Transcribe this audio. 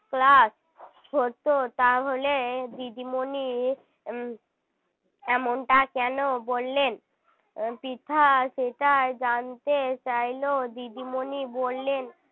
class হত তাহলে দিদিমণি উম এমনটা কেন বললেন পৃথা সেটা জানতে চাইল দিদিমণি বললেন